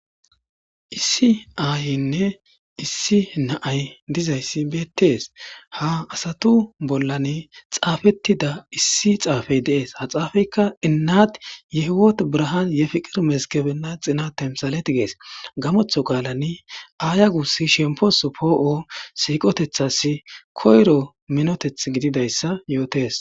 issi aayinne issi na7ay dizayssi beettees ha asatu bollani xaafettida issi xaafey deees ha xaafeykka innat yehiwot braha yefiqir mezkebenna xina temsalet gees gamotho qaalani aaya gussi shempos poo7o siiqotethas koyro minoteth gididayssa yootes